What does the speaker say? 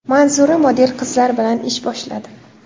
Manzura model qizlar bilan ish boshladi.